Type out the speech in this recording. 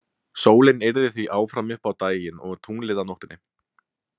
Sólin yrði því áfram uppi á daginn og tunglið á nóttunni.